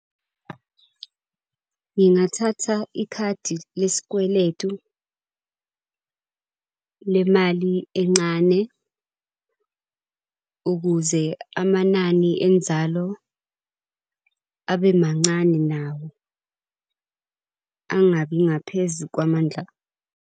Ngingathatha ikhadi lesikweletu, le mali encane ukuze amanani enzalo abe mancane nawo, angabi ngaphezu kwamandla.